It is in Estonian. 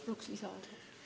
Palun lisaaega!